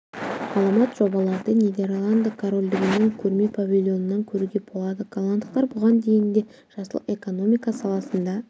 ғаламат жобаларды нидерланды корольдігінің көрме павильонынан көруге болады голландықтар бұған дейін де жасыл экономика саласында